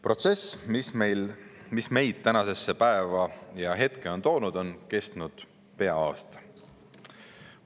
Protsess, mis on meid tänasesse päeva ja nüüdsesse hetke toonud, on kestnud pea aasta.